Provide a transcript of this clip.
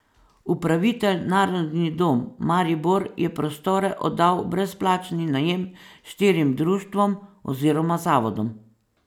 Upravitelj Narodni dom Maribor je prostore oddal v brezplačni najem štirim društvom oziroma zavodom.